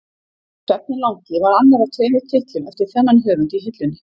Svefninn langi var annar af tveimur titlum eftir þennan höfund í hillunni.